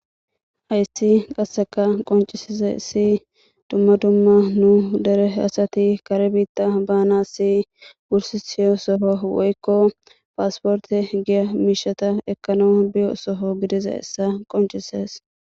Haysi qaseka qoncisizaysi duma duma nu dere asati kare bitta banasi wursisiyo soho woyko passports giyo misha ekanaw biyo sogogididaysa qonc'isses.